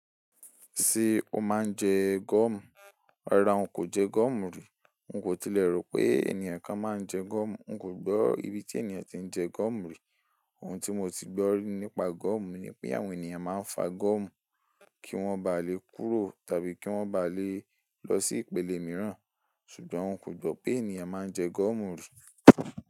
Ṣé o máa ń jẹ gọ́ọ̀mù? Rárá ọ nkò jẹ gọ́ọ̀mù rí. Un kò tilẹ̀ rò pé ènìyàn kan máa ń jẹ gọ́ọ̀mù. Un kò gbọ́ ibi tí ènìyàn ti ń jẹ gọ́ọ̀mù rí. Ohun tí mo ti gbọ́rí nípa gọ́ọ̀mù ni pé àwọn ènìyàn máa ń fa gọ́ọ̀mù kí wọ́n ba lè kúrò tàbí kí wọ́n ba lè lọ sí ìpele mìíràn. Ṣùgbọ́n un kò gbọ́ pé ènìyàn máa ń jẹ gọ́ọ̀mù rí.